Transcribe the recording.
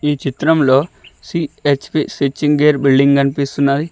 ఈ చిత్రంలో సి_హెచ్_పి సెర్చింగ్ ఎయిర్ బిల్డింగ్ కనిపిస్తున్నాది.